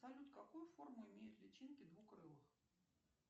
салют какую форму имеют личинки двукрылых